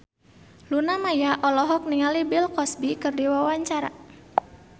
Luna Maya olohok ningali Bill Cosby keur diwawancara